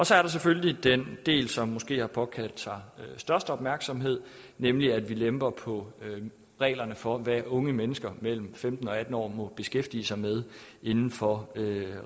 så er der selvfølgelig den del som måske har påkaldt sig størst opmærksomhed nemlig at vi lemper på reglerne for hvad unge mennesker mellem femten og atten år må beskæftige sig med inden for